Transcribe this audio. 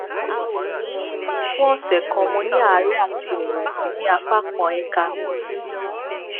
fún ọsẹ kan mo ní àárẹ àti ìrẹwẹsì ní apá kan ẹka mi